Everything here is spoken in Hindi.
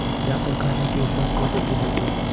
जाकर खाने के स्थान को जल्दीजल्दी